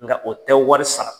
Nka o tɛ wari sara,